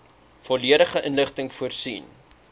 volledige inligting voorsien